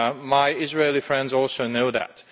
My Israeli friends also know that.